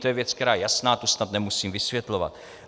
To je věc, která je jasná, tu snad nemusím vysvětlovat.